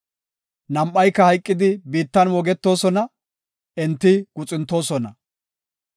Nam7ayka hayqidi biittan moogetosona; enti guxuntoosona.